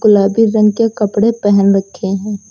गुलाबी रंग के कपड़े पहन रखें है।